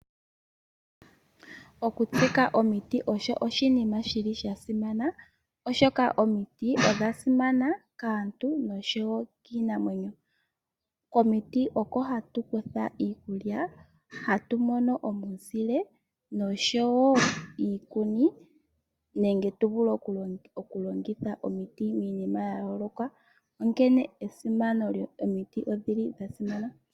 Okutsika omiti osho oshinima shili shasimana oshoka omiti odha simana kaantu noshowo kiinamwenyo. Komiti oko hatukutha iikulya, hatu mono omuzile noshowo iikuni nenge tuvule oku longitha omiti miinima yayooloka. Onkene esimano lyomiti odhili dha simana.